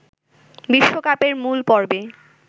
বিশ্বকাপের মূল পর্বে